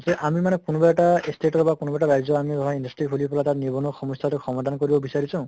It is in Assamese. যে আমি মানে কোনোবা এটা state ৰ বা কোনোবা এটা ৰাজ্য়ৰ আমি ধৰা industry খুলি পালে তাত নিবনুৱা সমস্য়াতো সমাধান কৰিব বিচাৰিছো